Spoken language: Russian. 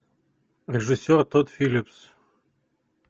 режиссер тодд филлипс